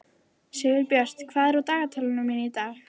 Sigurbjört, hvað er á dagatalinu mínu í dag?